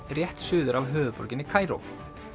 rétt suður af höfuðborginni Kaíró